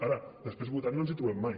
ara després votant no ens trobem mai